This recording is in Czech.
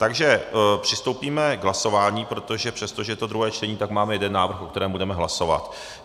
Takže přistoupíme k hlasování, protože přestože je to druhé čtení, tak máme jeden návrh, o kterém budeme hlasovat.